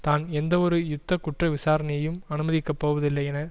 தான் எந்தவொரு யுத்த குற்ற விசாரணையையும் அனுமதிக்க போவதில்லை என